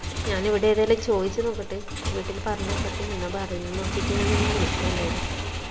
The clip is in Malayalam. ഞാൻ ഇവിടെ ഏതായാലും ചോയ്ച്ചു നോക്കട്ട് വീട്ടിൽ പറഞ്ഞ് നോക്കട്ട് എന്താ പറയുന്നേ നോക്കിട്ട് ഞാൻ നിന്നെ വിളിക്ക എന്തായാലു